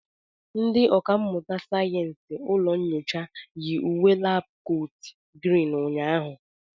Ndị ọkà mmụta sayensị na ụlọ nyocha yi uwe labkot Green ụnyaahụ.